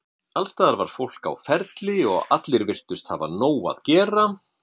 Alls staðar var fólk á ferli og allir virtust hafa nóg að gera.